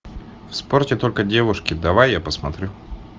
в спорте только девушки давай я посмотрю